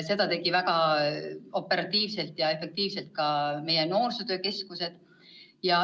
Seda tegi väga operatiivselt ja efektiivselt ka meie noorsootöö keskus.